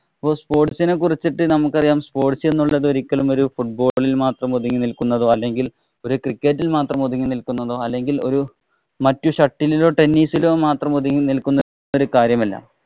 അപ്പൊ sports ഇനെ കുറിച്ചിട്ടു നമുക്കറിയാം. sports എന്നുള്ളത് ഒര football ഇല്‍ ഒതുങ്ങി നില്‍ക്കുന്നതോ അല്ലെങ്കില്‍ ഒരു cricket ഇല്‍ മാത്രം ഒതുങ്ങി നില്‍ക്കുന്നതോ, അല്ലെങ്കില്‍ ഒരു മറ്റു shuttle ഇലോ, tennis ഇലോ മാത്രം ഒതുങ്ങി നില്‍ക്കുന്ന ഒരു കാര്യമല്ല.